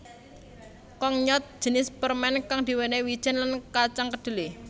Kongnyeot jinis permen kang diwenehi wijen lan kacang kedelai